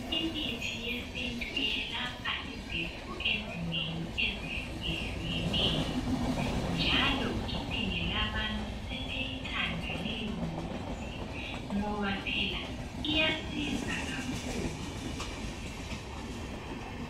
Imithi yesintu yelapha izifo ezinengi ezihlukehlukeneyo njalo inengi labantu sebeyithanda leyo mithi ngoba phela iyasiza kakhulu.